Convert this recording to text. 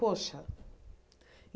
Poxa.